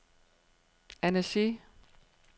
Annecy